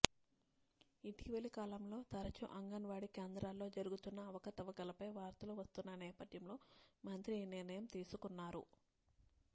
ఇటీవల కాలంలో తరచూ అంగన్వాడీ కేంద్రాల్లో జరుగుతున్న అవకతవకలపై వార్తలు వస్తున్న నేపథ్యంలో మంత్రి ఈ నిర్ణయం తీసుకున్నారు